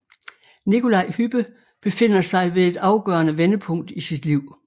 Nikolaj Hübbe befinder sig ved et afgørende vendepunkt i sit liv